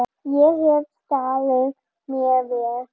Ég hef staðið mig vel.